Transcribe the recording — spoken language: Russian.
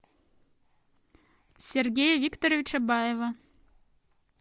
сергея викторовича баева